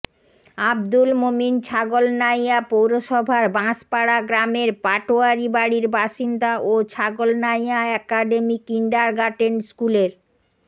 আবদুল মোমিন ছাগলনাইয়া পৌরসভার বাঁশপাড়া গ্রামের পাটোয়ারী বাড়ির বাসিন্দা ও ছাগলনাইয়া একাডেমি কিন্ডারগার্টেন স্কুলের